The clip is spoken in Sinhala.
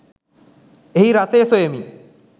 එහි රසය සොයමි